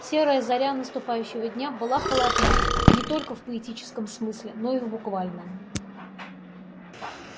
серая заря наступающего дня была холодна не только в поэтическом смысле но и в буквальном